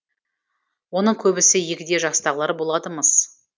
оның көбісі егде жастағылар болады мыс